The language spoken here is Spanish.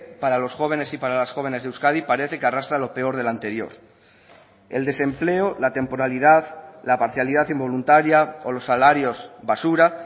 para los jóvenes y para las jóvenes de euskadi parece que arrastra lo peor de la anterior el desempleo la temporalidad la parcialidad involuntaria o los salarios basura